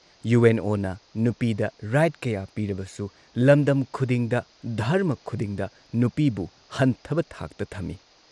U N ꯑꯣꯅ ꯅꯨꯄꯤꯗ right ꯀꯌꯥ ꯄꯤꯔꯕꯁꯨ ꯂꯝꯗꯝ ꯈꯨꯗꯤꯡꯗ, ꯙꯔꯃ ꯈꯨꯗꯤꯡꯗ ꯅꯨꯄꯤꯕꯨ ꯍꯟꯊꯕ ꯊꯥꯛꯇ ꯊꯝꯏ ꯫